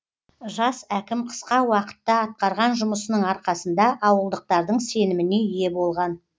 жас әкім қысқа уақытта атқарған жұмысының арқасында ауылдықтардың сеніміне ие болған